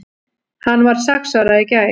Hann varð sex ára í gær.